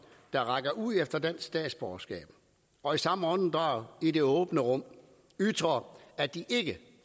der rækker ud efter dansk statsborgerskab og i samme åndedrag i det åbne rum ytrer at de ikke